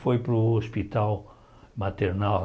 Foi para o hospital maternal.